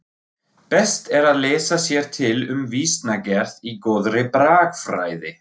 Best er að lesa sér til um vísnagerð í góðri bragfræði.